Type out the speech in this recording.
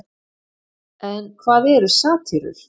en hvað eru satírur